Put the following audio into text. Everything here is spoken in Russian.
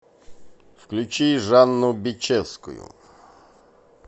включи жанну бичевскую